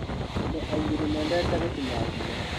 Andũ aingĩ mendete gũtuma nguo.